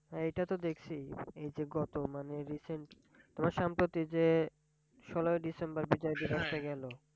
হ্যাঁ এইটা তো দেখছি এই গত মানে recent তোমার সম্পত্তি যে ষোলই december যে বিজয় গেলো,